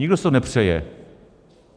Nikdo si to nepřeje.